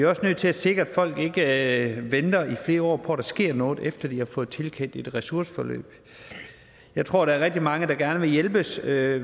også nødt til at sikre at folk ikke venter i flere år på at der sker noget efter at de har fået tilkendt et ressourceforløb jeg tror at der er rigtig mange der gerne vil hjælpes det